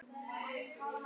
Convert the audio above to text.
Hrund: Af hverju ekki?